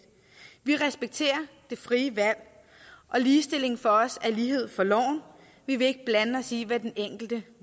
vi respekterer det frie valg og ligestilling for os er lighed for loven vi vil ikke blande os i hvad den enkelte